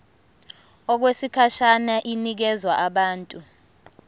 okwesikhashana inikezwa abantu